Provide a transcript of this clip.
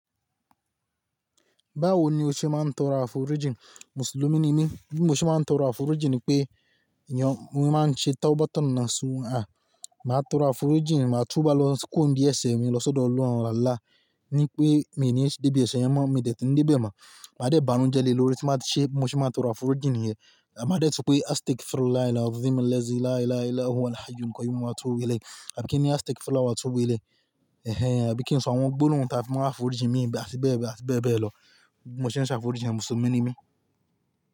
Báwo ni o ṣe máa ń tọrọ àforíjìn? Mùsùlùmí ni mí, bí mo ṣe máa ń tọrọ àforíjìn ni pé ìyàn, mo máa ń ṣe táwọ́bátọ̀ nàsum hà Màá tọrọ àforíjìn, màá túbá lọ kúrò ńdí ẹ̀ṣẹ̀ mi lọ sọ́dọ̀ Ọlọ́run Allah ní pé miì ní debi ẹ̀ṣẹ̀ mọ́, miì ní dé tì níbè mọ́. Màá dẹ̀ banújẹ́ lé lórí ti máa ṣe, mo ṣe máa tọrọ àforíjìn yẹn. Àbí máa dẹ́tù pé "I take full Allah, Allah, Allah, Allah, Allahu Akbar", kọ́ni mo máa túbọ̀ wí lẹ́ẹ̀. Àbí kíni I take full Allah túbọ̀ wí lẹ́ẹ̀? Ẹ̀hẹn, àbí kí n sọ àwọn gbólóhùn táa fi máa àforíjìn mi níbi, àti bẹ́ẹ̀ bẹ́ẹ̀, àti bẹ́ẹ̀ bẹ́ẹ̀ lọ. Bí mo ṣe ń ṣàforíjìn, Mùsùlùmí ni mí.